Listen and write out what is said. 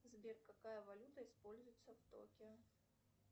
сбер какая валюта используется в токио